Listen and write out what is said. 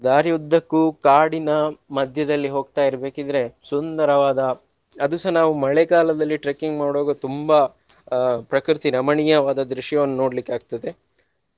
ದಾರಿ ಉದ್ದಕ್ಕೂ ಕಾಡಿನ ಮಧ್ಯದಲ್ಲಿ ಹೋಗ್ತಾ ಇರ್ಬೇಕಿದ್ರೆ ಸುಂದರವಾದ ಅದುಸ ನಾವು ಮಳೆಗಾಲದಲ್ಲಿ trekking ಮಾಡುವಾಗ ತುಂಬಾ ಅಹ್ ಪ್ರಕೃತಿ ರಮಣೀಯವಾದ ದೃಶ್ಯವನ್ನು ನೋಡ್ಲಿಕ್ಕೆ ಆಗ್ತದೆ.